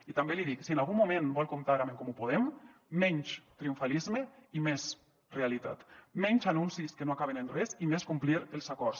i també l’hi dic si en algun moment vol comptar amb en comú podem menys triomfalisme i més realitat menys anuncis que no acaben en res i més complir els acords